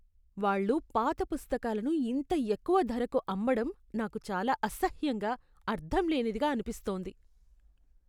వాళ్ళు పాత పుస్తకాలను ఇంత ఎక్కువ ధరకు అమ్మడం నాకు చాలా అసహ్యంగా, అర్ధంలేనిదిగా అనిపిస్తోంది.